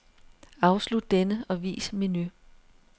Afslut denne og vis menu.